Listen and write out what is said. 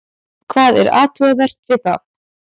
Hvað er athugavert við það?